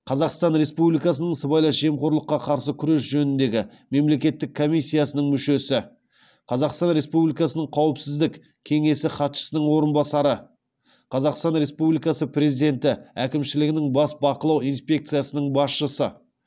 қазақстан республикасының сыбайлас жемқорлыққа қарсы күрес жөніндегі мемлекеттік комиссиясының мүшесі қазақстан републикасының қауіпсіздік кеңесі хатшысының орынбасары қазақстан републикасы президенті әкімшілігінің бас бақылау инспекциясының басшысы